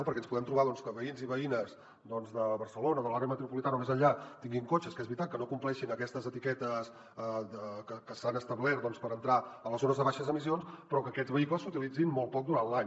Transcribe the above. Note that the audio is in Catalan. perquè ens podem trobar doncs que veïns i veïnes de barcelona de l’àrea metropolitana o més enllà tinguin cotxes que és veritat que no compleixin aquestes etiquetes que s’han establert per entrar a les zones de baixes emissions però que aquests vehicles s’utilitzin molt poc durant l’any